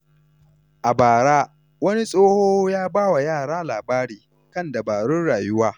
A bara, wani tsoho ya ba wa yara labari kan dabarun rayuwa.